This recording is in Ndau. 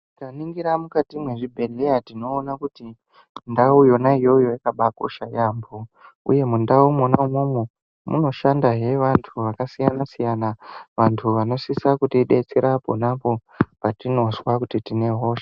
Tikaningira mukati mwezvibhehleya tinoona kuti ndau yona iyoyo yakabakosha yaambo uye mundau mwona umwomwo munoshandahe vantu vakasiyana siyana vantu vanosisa kutidetsera ponapo patinozwa kuti tine hosha.